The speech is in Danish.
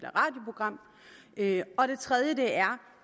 eller radioprogram og det tredje er